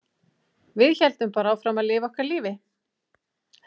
Við héldum bara áfram að lifa okkar lífi.